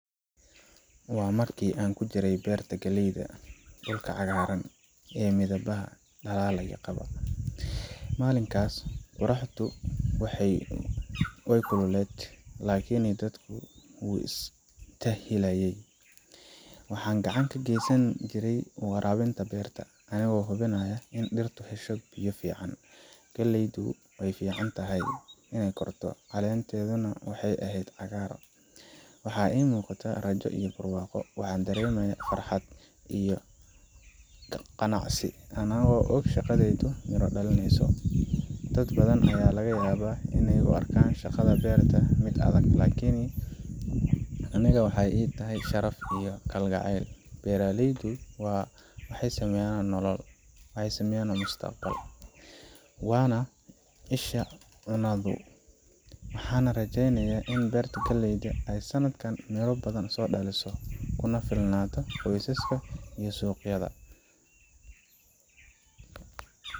Waa markii aan ku jiray beerta galleyda, dhulka cagaaran ee midhaha dhalalay. Maalinkaas qorraxdu way kululayd, laakiin dadku wuu istaahilaay. Waxaan gacan ka geysanayay waraabinta beerta, anigoo hubinayay in dhirtu hesho biyo ku filan. Galleydu si fiican bay u kortay, caleenteeduna waxay ahayd cagaar. Waxaa ii muuqatay rajo iyo barwaaqo. Waxaan dareemay farxad iyo qanacsanaan anigoo og in shaqadaydu miro dhaleyso. Dad badan ayaa laga yaabaa inay u arkaan shaqada beerta mid adag, laakiin aniga waxay ii tahay sharaf iyo kalgacayl. Beeraleydu waxay sameyan nolol, waxay sameyan mustaqbal, waana isha cunnadeenna. Waxaan rajaynayaa in beertan galleyda ah ay sanadkan miro badan dhaliso, kuna filnaato qoysaskayaga iyo suuqyadayada.